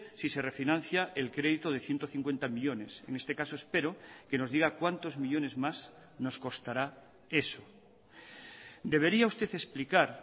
si se refinancia el crédito de ciento cincuenta millónes en este caso espero que nos diga cuántos millónes más nos costará eso debería usted explicar